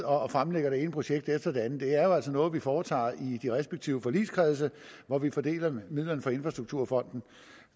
og fremlægger det ene projekt efter det andet det er altså noget vi foretager i de respektive forligskredse hvor vi fordeler midlerne fra infrastrukturfonden